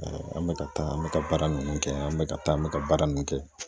an bɛ ka taa an bɛ ka baara ninnu kɛ an bɛ ka taa an bɛ ka baara ninnu kɛ